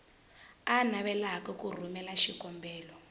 a navelaka ku rhumela xikombelo